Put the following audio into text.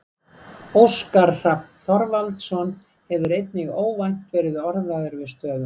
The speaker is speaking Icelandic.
Óskar Hrafn Þorvaldsson hefur einnig óvænt verið orðaður við stöðuna.